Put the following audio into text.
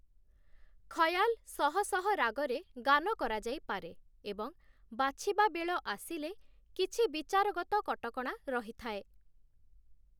ଖୟାଲ ଶହ ଶହ ରାଗରେ ଗାନ କରାଯାଇପାରେ ଏବଂ ବାଛିବା ବେଳ ଆସିଲେ, କିଛି ବିଚାରଗତ କଟକଣା ରହିଥାଏ ।